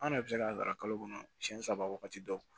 An yɛrɛ bɛ se ka kalo kɔnɔ siyɛn saba waati dɔ